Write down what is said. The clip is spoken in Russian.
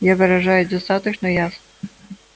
я выражаюсь достаточно ясно